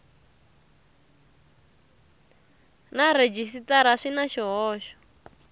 na rhejisitara swi na swihoxo